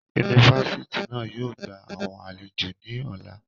Unifásitì na yóò gba awọn alejo ni ọla.